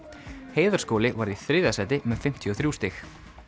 Heiðarskóli varð í þriðja sæti með fimmtíu og þrjú stig